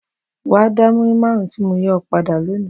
Wàá da múrí márùn-ún tí mo yá ọ padà lónìí!